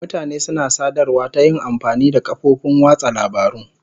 Mutane suna sadarwa ta yin amfani da kafofin watsa labarun.